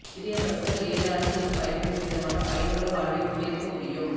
சிறிய பஸ்கள் ஏழு ஆண்டுகளுக்குப் பயன்படும் விதமான பயனுள்ள வாழ்வைக் கொண்டிருக்க முடியும்